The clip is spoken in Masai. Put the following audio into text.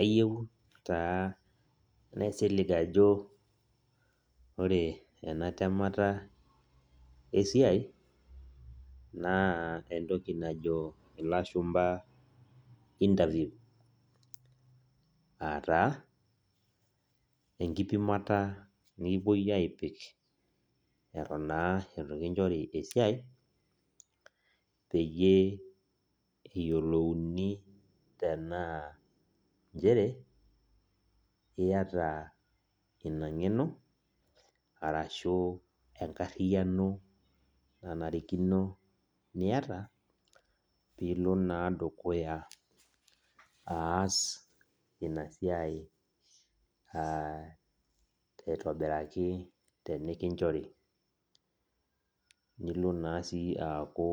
Ayieu taa naisilig ajo ore ena temata esiai, naa entoki najo ilashumpa interview. Ataa, enkipimata nikipoi apik eton naa itu kinchori esiai, peyie eyiolouni tenaa njere, iyata ina ng'eno, arashu enkarriyiano nanarikino niata, pilo naa dukuya aas inasiai ah aitobiraki tenikinchori. Nilo naa si aku